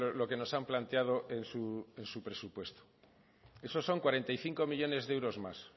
lo que nos han planteado en su presupuesto eso son cuarenta y cinco millónes de euros más